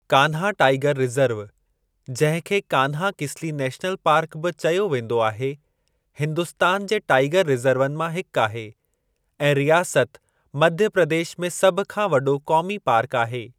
Kanha tiger reserve, जंहिं खे Kanha Kisli national park बि चयो वेंदो आहे, हिन्दुस्तान जे टाईगर रिज़र्वनि मां हिक आहे ऐं रियासत मध्य प्रदेश में सभ खां वॾो क़ौमी पार्क आहे।